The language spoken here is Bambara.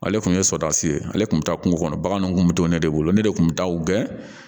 Ale tun ye sɔdisi ye ale tun bɛ taa kungo kɔnɔ baganw kun bɛ to ne de bolo ne de tun bɛ taa u gɛn